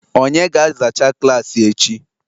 onye ga-azacha klaasị echi?